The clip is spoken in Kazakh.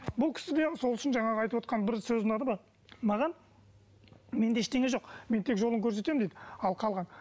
бұл кісіде сол үшін жаңағы айтып отырған бір сөзі ұнады маған менде ештеңе жоқ мен тек жолын көрсетемін дейді ал қалған